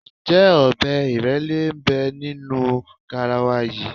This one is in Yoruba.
Ǹjẹ́ ọbẹ̀ ìrẹ́lé ń bẹ nínú garawa yìí?